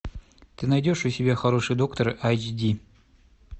ты найдешь у себя хороший доктор айч ди